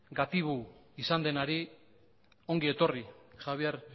gatibu izan denari ongi etorri javier